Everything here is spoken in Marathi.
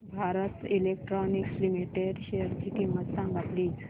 भारत इलेक्ट्रॉनिक्स लिमिटेड शेअरची किंमत सांगा प्लीज